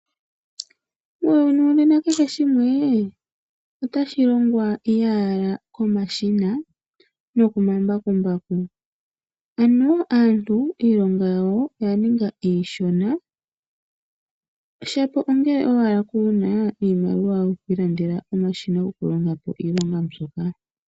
Muuyuni wonena kehe shimwe otashi longwa iye ala komashina nokomambakumbaku. Ano aantu iilonga yawo oya ninga iishona shapo ongele owala kuna iimaliwa yoku ilandela omashina goku longapo iilonga mbyoka.